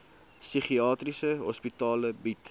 psigiatriese hospitale bied